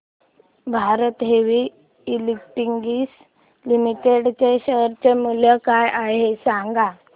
Bharat heavy electricals limited च्या share चे मूल्य काय आहे सांगा